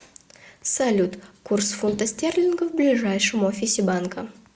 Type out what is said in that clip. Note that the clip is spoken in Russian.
салют курс фунта стерлингов в ближайшем офисе банка